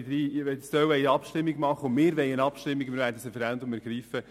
Wirwollen eine Abstimmung und werden das Referendum ergreifen.